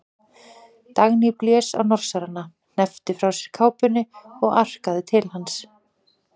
Dagný blés á Norsarana, hneppti frá sér kápunni og arkaði til hans.